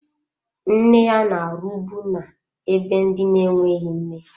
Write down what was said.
Nne ya na-arụbu na-ebe ndị na-enweghị nne.